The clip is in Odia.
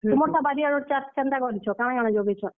ତୁମର୍ ଟା ବାରିଆଡର ଚାଷ୍ କେନ୍ତା କାଣା କରିଛ? କାଣା କାଣା ଜଗେଇଛ?